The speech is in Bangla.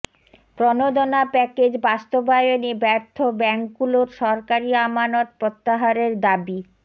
প্রণোদনা প্যাকেজ বাস্তবায়নে ব্যর্থ ব্যাংকগুলোর সরকারি আমানত প্রত্যাহারের দাবি